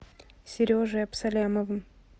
сережей абсалямовым